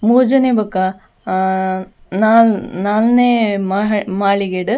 ಮೂಜಿನೆ ಬೊಕ ಆ ನಾಲ್ ನಾಲ್ನೆ ಮಹಡಿ ಮಾಳಿಗೆಡ್.